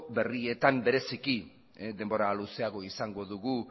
berrietan bereziki denbora luzeagoa izango dugu